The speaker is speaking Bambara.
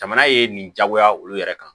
Jamana ye nin diyagoya olu yɛrɛ kan